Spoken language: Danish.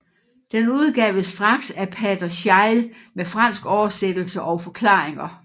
Den udgaves straks af pater Scheil med fransk oversættelse og forklaringer